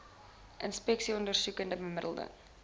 inspeksies ondersoeke bemiddeling